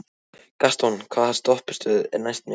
Gaston, hvaða stoppistöð er næst mér?